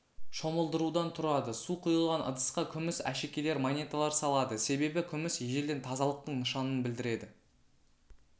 шомылдырудан тұрады су құйылған ыдысқа күміс әшекейлер монеталар салады себебі күміс ежелден тазалықтың нышанын білдіреді